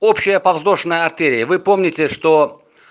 общая подвздошная артерия вы помните что